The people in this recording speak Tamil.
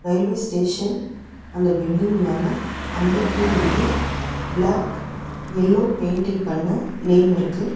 ரயில்வே ஸ்டேஷன் அந்த பில்டிங் மேல அம்பத்தூர் என்று ப்ளாக் எல்லோ பெயின்டிங் பண்ண நேம் இருக்கு.